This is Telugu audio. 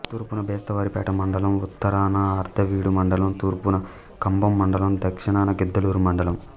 తూర్పున బెస్తవారిపేట మండలం ఉత్తరాన అర్ధవీడు మండలం తూర్పున కంభం మండలం దక్షణాన గిద్దలూరు మండలం